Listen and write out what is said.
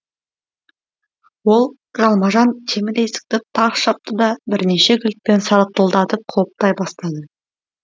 ол жалма жан темір есікті тарс жапты да бірнеше кілтпен сартылдатып құлыптай бастады